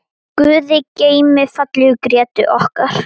Guði geymi fallegu Grétu okkar.